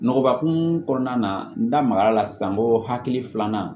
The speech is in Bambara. Nɔgɔba kun kɔnɔna na n da magara la sisan ko hakili filanan